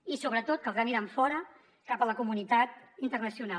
i sobretot caldrà mirar enfora cap a la comunitat internacional